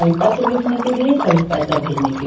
पत्र लिखने के लिए कभी पैसा भेजने के--